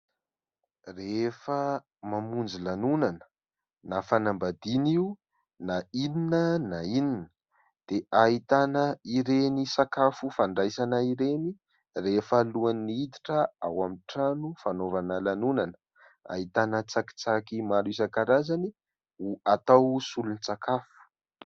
Rehefa mamonjy lanonana na fanambadiana io na inona na inona dia ahitana ireny sakafo fandraisana ireny rehefa alohan'ny hiditra ao amin'ny trano fanaovana lanonana. Ahitana tsakitsaky maro isan-karazany atao solon-tsakafo.